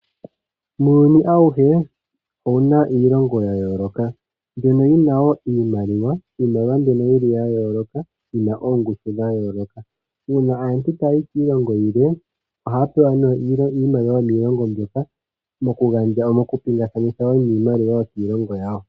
Iilongo yomuuyuni oyina iimaliwa yayoolokathana noyi na oongushu dhayooloka. Uuna aantu taya yi kiilongo yimwe ohaya pingakanitha iimaliwa.